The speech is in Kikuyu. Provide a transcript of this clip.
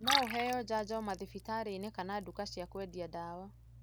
No ũheo janjo madhibitarĩinĩ kana nduka cia kũendia ndawa.